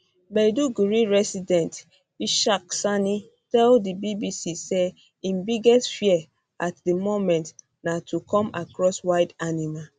maiduguri resident ishaq sani tell di bbc say im biggest fear at di moment na to come across wild animal